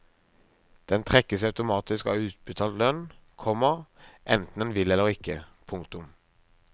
Den trekkes automatisk av utbetalt lønn, komma enten en vil eller ikke. punktum